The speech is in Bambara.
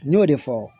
N y'o de fɔ